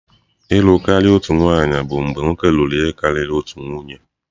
ịlụ karịa otu nwanyị bụ mgbe nwoke lụrụ ihe karịrị otu nwunye.